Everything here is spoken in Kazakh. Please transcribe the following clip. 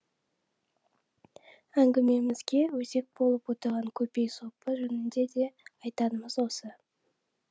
әңгімемізге өзек болып отырған көпей сопы жөнінде де айтарамыз осы